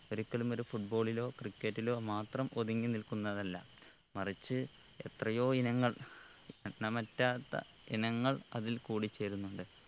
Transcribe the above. ഒരിക്കലുമൊരു football ലോ cricket ലോ മാത്രം ഒതുങ്ങി നിൽക്കുന്നതല്ല മറിച്ച് എത്രയോ ഇനങ്ങൾ എണ്ണമറ്റാത്ത ഇനങ്ങൾ അതിൽ കൂടി ചേരുന്നുണ്ട്